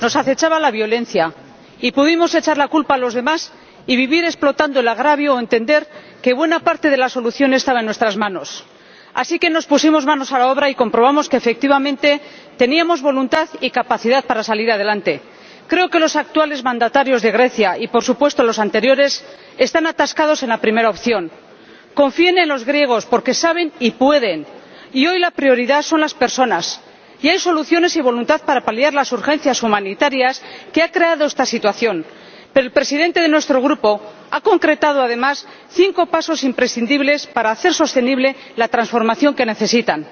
Señor Presidente, mi país salió de una dictadura militar en horribles condiciones. Éramos una ruina industrial, nos acechaba la violencia y pudimos echar la culpa a los demás y vivir explotando el agravio, o entender que buena parte de la solución estaba en nuestras manos. Así que nos pusimos manos a la obra y comprobamos que, efectivamente, teníamos voluntad y capacidad para salir adelante. Creo que los actuales mandatarios de Grecia y, por supuesto, los anteriores están atascados en la primera opción. Confíen en los griegos, porque saben y pueden. Y hoy la prioridad son las personas y hay soluciones y voluntad para paliar las urgencias humanitarias que ha creado esta situación. El Presidente de nuestro Grupo ha concretado, además, cinco pasos imprescindibles para hacer sostenible la transformación que necesitan.